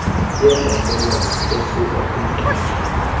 yembalelwano esuka kumqeshi